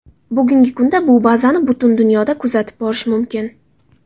Bugungi kunda bu bazani butun dunyoda kuzatib borish mumkin.